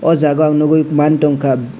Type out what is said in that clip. o jaga ang nogoi manga tongka.